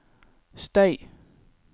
støy